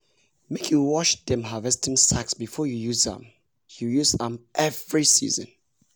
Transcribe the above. make you wash dem harvesting sacks before you use am you use am every season.